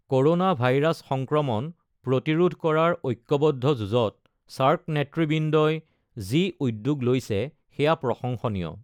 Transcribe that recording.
Corona virus সংক্ৰমণ প্ৰতিৰোধ কৰাৰ ঐক্যবদ্ধ যুঁজত ছাৰ্ক নেতৃবৃন্দই যি উদ্যোগ লৈছে সেয়া প্ৰশংসনীয়।